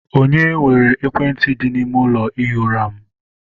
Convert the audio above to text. Onye weere ekwentị dị n'ime ụlọ ihi ụra m?